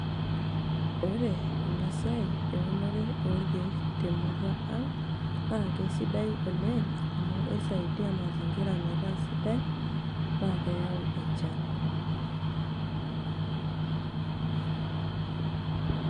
ore ena siai eunore orkeek temurua ang naa keisidai oleng amu keisaidia mazingira metaa sidai naa keyau enchan.